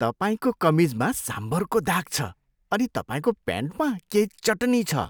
तपाईँको कमिजमा साम्भरको दाग छ अनि तपाईँको प्यान्टमा केही चटनी छ।